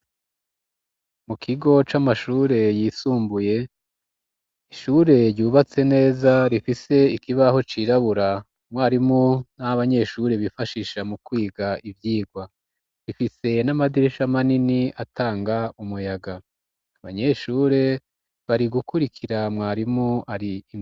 Mu kigo c'amashure yisumbuye ishure ryubatse neza rifise ikibaho cirabura umwarimu n'abanyeshure bifashisha mu kwiga ivyigwa rifise n'amadirisha manini atanga umuyaga abanyeshure bari gukurikira mwarimu ari.